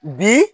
Bi